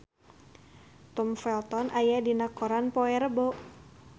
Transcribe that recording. Tom Felton aya dina koran poe Rebo